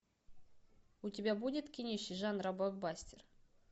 у тебя будет кинище жанра блокбастер